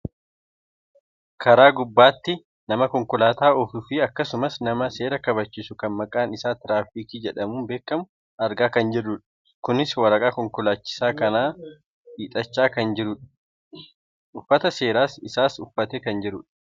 karaa gubaatti nama konkolaataa oofuufi akkasumas nama seera kabachiisu kan maqaan isaa tiraafikii jedhamuun beekkamu argaa kan jirrudha. kunis waraqaa konkolaachisaa kanatti hiixachaa kan jirudha. uffata seeraa isaas uffattee kan jirudha.